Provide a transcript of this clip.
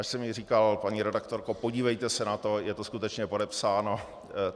Až jsem jí říkal: Paní redaktorko, podívejte se na to, je to skutečně podepsáno?